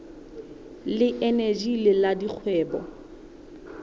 le eneji le la dikgwebo